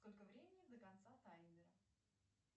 сколько времени до конца таймера